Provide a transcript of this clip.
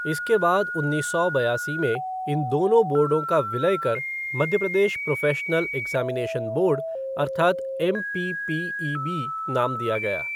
इसके बाद उन्नीस सौ बयासी में इन दोनों बोर्डों का विलय कर Madhya Pradesh professional examination board अर्थात् एमपीपीईबी नाम दिया गया।